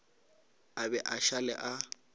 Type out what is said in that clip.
a be a šale a